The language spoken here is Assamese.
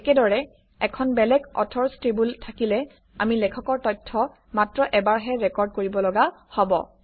একেদৰে এখন বেলেগ অথৰচ্ টেবুল থাকিলে আমি লেখকৰ তথ্য মাত্ৰ এবাৰহে ৰেকৰ্ড কৰিব লগা হব